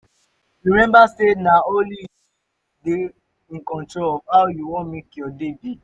remmba say na only yu fit dey in control of how yu wan mek yur day be